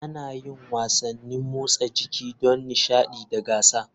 Ana yin wasannin motsa jiki don nishaɗi da gasa.